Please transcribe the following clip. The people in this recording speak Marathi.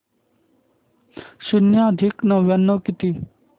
शून्य अधिक नव्याण्णव किती